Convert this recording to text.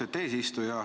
Austet eesistuja!